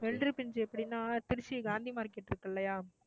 வெள்ளரிப்பிஞ்சு எப்படின்னா திருச்சி காந்தி market இருக்கு இல்லையா